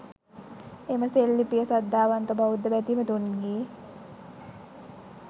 එම සෙල්ලිපිය සද්ධාවන්ත බෞද්ධ බැතිමතුන්ගේ